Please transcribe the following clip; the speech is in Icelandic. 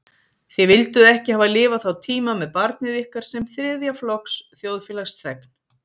Þið vilduð ekki hafa lifað þá tíma með barnið ykkar sem þriðja flokks þjóðfélagsþegn.